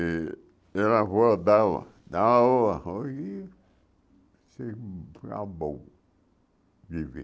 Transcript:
E e a avó dava dava o arroz e bom viver.